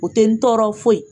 O tɛ n tɔɔrɔ foyi,